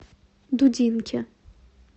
дудинке